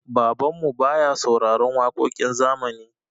Babanmu baya sauraron waƙoƙin zamani.